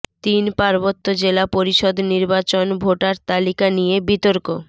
তিন পার্বত্য জেলা পরিষদ নির্বাচন ভোটার তালিকা নিয়ে বিতর্ক